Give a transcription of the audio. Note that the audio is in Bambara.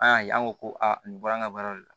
An y'a ye an ko ko aa nin bɔra an ga baara de la